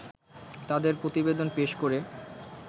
তাদের প্রতিবেদন পেশ করে